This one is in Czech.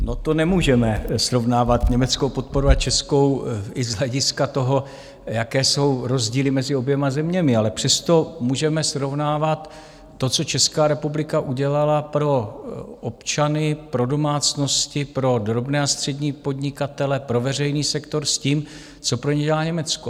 No, to nemůžeme srovnávat německou podporu a českou i z hlediska toho, jaké jsou rozdíly mezi oběma zeměmi, ale přesto můžeme srovnávat to, co Česká republika udělala pro občany, pro domácnosti, pro drobné a střední podnikatele, pro veřejný sektor, s tím, co pro ně dělá Německo.